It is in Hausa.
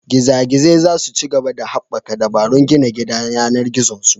Giza Gizai za su ci gaba da haɓaka dabarun gina gidan yAnar gizon su